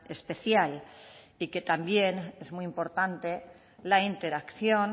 especial y que también es muy importante la interacción